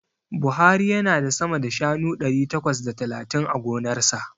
Buhari yana da sama da shanu ɗari takwas da talatin a gonarsa.